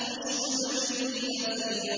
اشْدُدْ بِهِ أَزْرِي